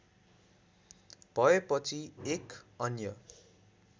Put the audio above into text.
भएपछि एक अन्य